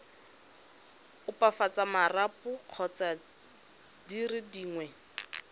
opafatsa marapo kgotsa dire dingwe